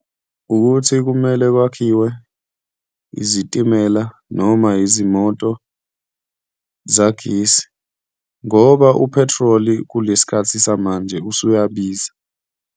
Ukuthi kumele kwakhiwe izitimela noma izimoto zagesi ngoba uphethroli kulesi khathi samanje usuyabiza.